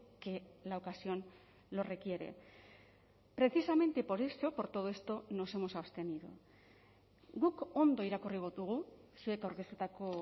que la ocasión lo requiere precisamente por eso por todo esto nos hemos abstenido guk ondo irakurri dugu zuek aurkeztutako